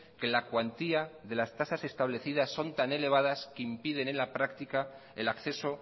que la cuantía de las tasas establecidas son tan elevadas que impiden en la práctica el acceso